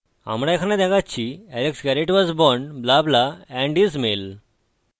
আমরা এখানে দেখাচ্ছি alex garret was born blah blah blah and is male